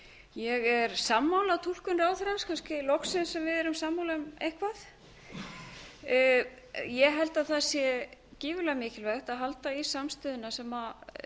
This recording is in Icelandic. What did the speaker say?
ég er sammála túlkun ráðherrans kannski loksins að við erum sammála um eitthvað ég held að það sé gífurlega mikilvægt að halda í samstöðuna sem